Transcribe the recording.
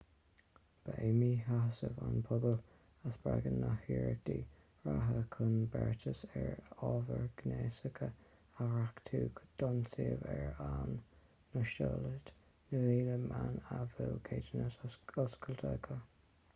ba é míshásamh an phobail a spreag na hiarrachtaí reatha chun beartas ar ábhar gnéasach a dhréachtú don suíomh ar a n-óstáiltear na milliún meán a bhfuil ceadúnas oscailte acu